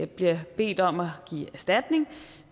bliver bedt om at give erstatning